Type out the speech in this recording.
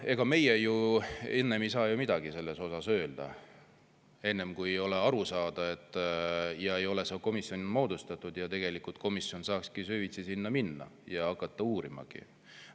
Ega meie ju enne ei saa midagi selle kohta öelda, kui ei ole seda arusaamist ja ei ole moodustatud seda komisjoni, mis saaks süvitsi minna ja uurima hakata.